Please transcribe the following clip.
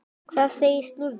Hvað segir slúðrið?